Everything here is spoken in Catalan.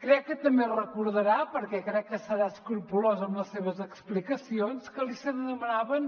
crec que també es recordarà perquè crec que serà escrupolós amb les seves explicacions que se’n demanava